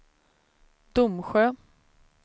Domsjö